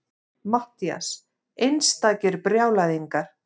MATTHÍAS: Einstakir brjálæðingar!